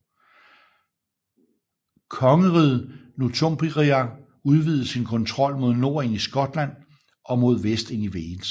Kongeriget Northumbria udvidede sin kontrol mod nord ind i Skotland og mod vest ind i Wales